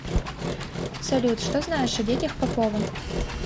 салют что знаешь о детях попова